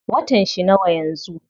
Watan shi nawa yanzu?